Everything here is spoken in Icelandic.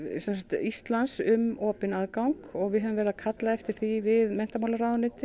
Íslands um opinn aðgang og við höfum verið að kalla eftir því við menntamálaráðuneytið